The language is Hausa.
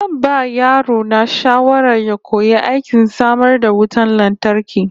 Zan ba yaro na shawara ya koyi aikin samar da wutar lantarki